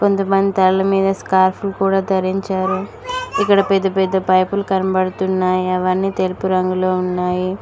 కొంతమంది తలలమీద స్క్రాఫ్ లు కూడ దారించారు ఇక్కడ పెద్ద పెద్ద పైపులు కంబడుతున్నాయి అవన్నీ తెలుపు రంగులో ఉన్నాయి.